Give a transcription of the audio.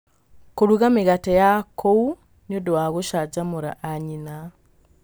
Kũruga mĩgate ya kũu nĩ ũndũ wa gũcanjamũra anyina.